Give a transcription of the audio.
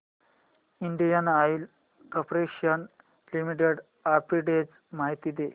Indian Oil Corporation Limited arbitrage माहिती दे